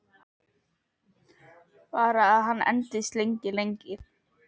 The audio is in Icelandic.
Bara að hann endist lengi, lengi.